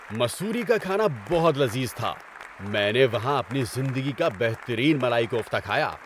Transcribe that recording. مسوری کا کھانا بہت لذیذ تھا۔ میں نے وہاں اپنی زندگی کا بہترین ملائی کوفتہ کھایا۔